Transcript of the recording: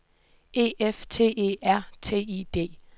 E F T E R T I D